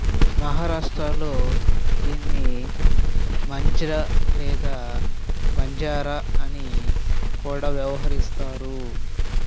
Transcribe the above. మహారాష్ట్రలో దీనిని మాంజ్రా లేదా మాంజరా అని కూడా వ్యవహరిస్తారు